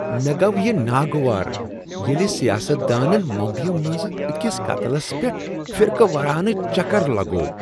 مےٚ گوٚو یہ ناگوار ییٚلہ سیاست دانن ممبیہِ منٛز أکس قتلس پیٹھ فرقہ وارانہ چکر لگوو۔